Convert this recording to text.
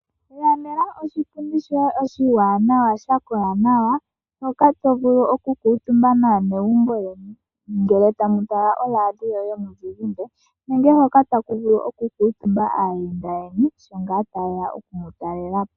Ilandela oshipundi shoye oshiwanawa sha kola nawa hoka to vulu okukuutumba naanegumbo yoye ngele tamu tala oradio yomuzizimba nenge hoka taku vulu okukuutumba aayenda yeni sho ngaa taye ya oku mu talela po.